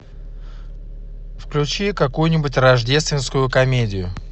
включи какую нибудь рождественскую комедию